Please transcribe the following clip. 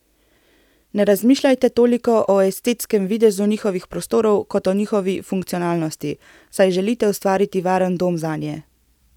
Ne razmišljajte toliko o estetskemu videzu njihovih prostorov kot o njihovi funkcionalnosti, saj želite ustvariti varen dom zanje.